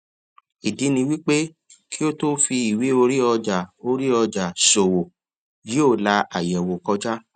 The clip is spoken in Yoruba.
ìdí ni wípé kí a tó fí ìwé orí ọjà orí ọjà ṣòwò yóò la àyẹwò kọjá